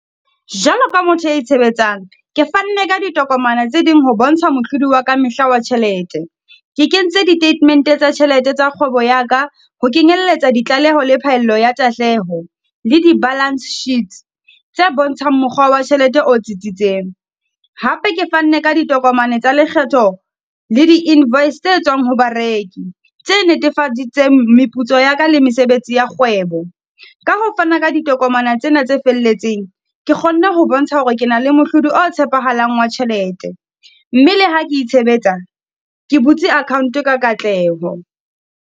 Jwalo ka motho a itshebetsang, ke fanne ka ditokomane tse ding ho bontsha mohlodi wa ka mehla wa tjhelete. Ke kentse ditatemente tsa tjhelete tsa kgwebo ya ka, ho kenyelletsa ditlaleho le phaello ya tahleho, le di-balance sheets tse bontshang mokgwa wa tjhelete o tsitsitseng. Hape ke fanne ka ditokomane tsa lekgetho le di-invoice tse tswang ho bareki, tse netefaditseng meputso ya ka le mesebetsi ya kgwebo. Ka ho fana ka di tokomane tsena tse felletseng. Ke kgonne ho bontsha hore ke na le mohlodi o tshepahalang wa tjhelete, mme le ha ke itshebetsa, ke butse account ka katleho.